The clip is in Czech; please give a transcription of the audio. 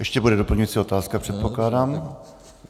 Ještě bude doplňující otázka, předpokládám.